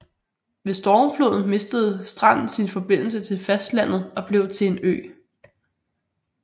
Ved stormfloden mistede Strand sin forbindelse til fastlandet og blev til en ø